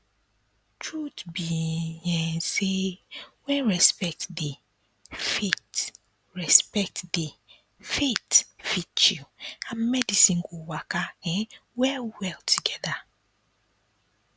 truth be um say when respect dey faith respect dey faith fit chill and medicine go waka um well well together